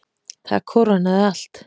Það kórónaði allt.